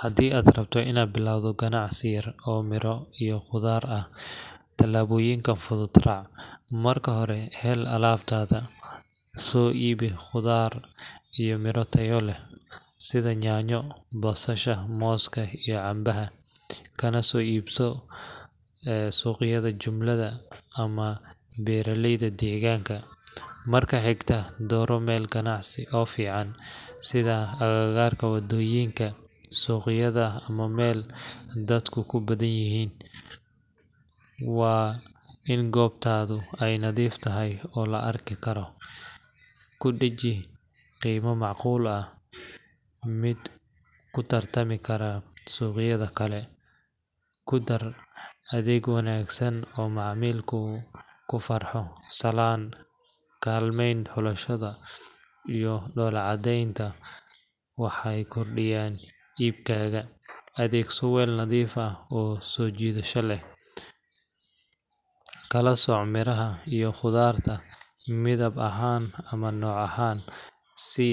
Haddii aad rabto inaad bilowdo ganacsi yar oo miro iyo khudaar ah, talaabooyinkan fudud raac:Marka hore, hel alaabtaada. Soo iibi khudaar iyo miro tayo leh sida yaanyo, basasha, mooska iyo canabka kana soo iibi suuqyada jumlada ama beeraleyda deegaanka. Marka xigta, dooro meel ganacsi oo fiican, sida agagaarka waddooyinka, suuqyada ama meel dadku ku badanyihiin. Waa in goobtaadu ay nadiif tahay oo la arki karo. Ku dheji qiime macquul ah mid ku tartami kara suuqyada kale. Ku dar adeeg wanaagsan oo macmiilku ku farxo salaanta, kaalmayn xulashada iyo dhoola-caddaynta waxay kordhiyaan iibkaaga. Adeegso weel nadiif ah oo soo jiidasho leh. Kala sooc miraha iyo khudaarta midab ahaan ama nooc ahaan si